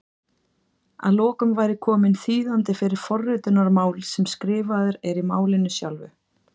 Að lokum væri kominn þýðandi fyrir forritunarmál sem skrifaður er í málinu sjálfu!